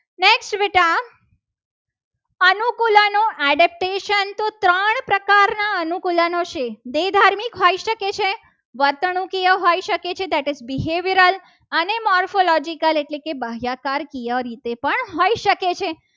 આનું aditatio તો ત્રણ પ્રકારના અનુકૂલન છે. દે ધાર્મિક હોઈ શકે છે વર્તણુકિય હોઈ શકે છે. કે behaviral અને morphological એટલે કે ગ્રાહ્ય કાર પણ હોઈ શકે છે.